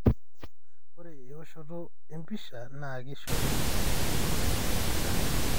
ore eoshoto empisha na kishori indipe eyiangata,